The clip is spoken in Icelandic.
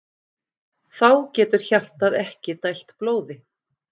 Þá getur hjartað ekki dælt blóði.